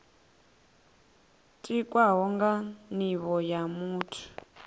tikwaho nga nivho ya muthu